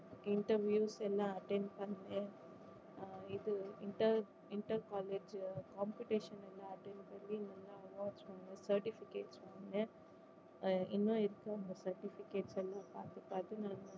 interviews லாம் attend பண்ணேன் ஆஹ் இது inter inter college competition எல்லாம் attend பண்ணி நல்லா awards வாங்கனேன் certificates வாங்கனேன் இன்னும் இருக்கு அங்க certificates எல்லாம் பாத்து பாத்து வாங்கனேன்